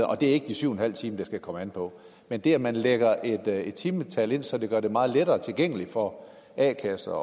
og det er ikke de syv timer det skal komme an på men det at man lægger et et timetal ind så det gør det meget lettere tilgængeligt for a kasser